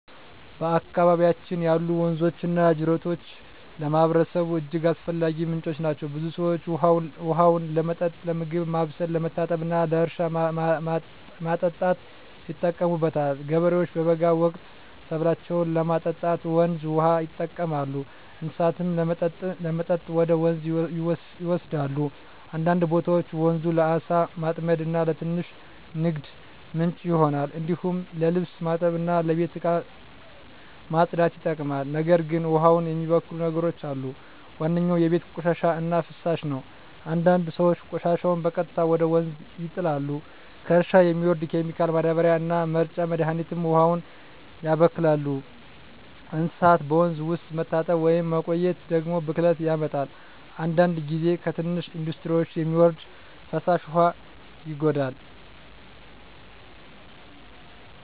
በአካባቢያችን ያሉ ወንዞችና ጅረቶች ለማህበረሰቡ እጅግ አስፈላጊ ምንጮች ናቸው። ብዙ ሰዎች ውሃውን ለመጠጥ፣ ለምግብ ማብሰል፣ ለመታጠብ እና ለእርሻ ማጠጣት ይጠቀሙበታል። ገበሬዎች በበጋ ወቅት ሰብላቸውን ለማጠጣት ወንዝ ውሃ ይጠቀማሉ፣ እንስሳትም ለመጠጥ ወደ ወንዝ ይወሰዳሉ። አንዳንድ ቦታዎች ወንዙ ለዓሣ ማጥመድ እና ለትንሽ ንግድ ምንጭ ይሆናል። እንዲሁም ለልብስ ማጠብ እና ለቤት እቃ ማጽዳት ይጠቅማል። ነገር ግን ውሃውን የሚበክሉ ነገሮች አሉ። ዋነኛው የቤት ቆሻሻ እና ፍሳሽ ነው፤ አንዳንድ ሰዎች ቆሻሻቸውን በቀጥታ ወደ ወንዝ ይጣላሉ። ከእርሻ የሚወርድ ኬሚካል ማዳበሪያ እና መርጫ መድሀኒትም ውሃውን ያበክላሉ። እንስሳት በወንዝ ውስጥ መታጠብ ወይም መቆየት ደግሞ ብክለት ያመጣል። አንዳንድ ጊዜ ከትንሽ ኢንዱስትሪዎች የሚወርድ ፍሳሽ ውሃ ይጎዳል።